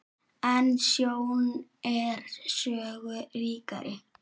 En sjón er sögu ríkari.